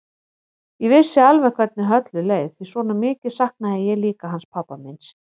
Ég vissi alveg hvernig Höllu leið því svona mikið saknaði ég líka hans pabba míns.